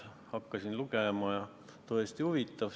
Hakkasin lugema, tõesti oli huvitav.